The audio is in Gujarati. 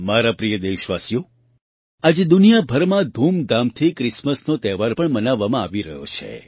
મારા પ્રિય દેશવાસીઓ આજે દુનિયાભરમાં ધૂમધામથી ક્રિસમસનો તહેવાર પણ મનાવવામાં આવી રહ્યો છે